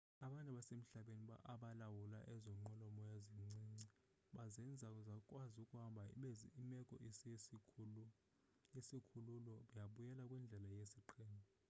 abantu abasemhlabeni abalawula ezo nqwelo-moya zincinci bazenza zakwazi ukuhamba ibe imeko yesikhululo yabuyela kwindlela yesiqhelo